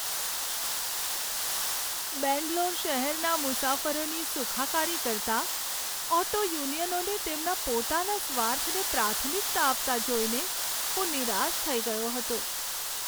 બેંગ્લોર શહેરના મુસાફરોની સુખાકારી કરતાં ઓટો યુનિયનોને તેમના પોતાના સ્વાર્થને પ્રાથમિકતા આપતા જોઈને હું નિરાશ થઈ ગયો હતો.